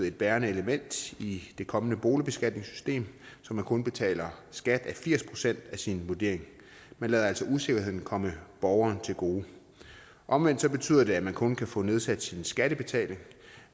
et bærende element i det kommende boligbeskatningssystem så man kun betaler skat af firs procent af sin vurdering man lader altså usikkerheden komme borgeren til gode omvendt betyder det at man kun kan få nedsat sin skattebetaling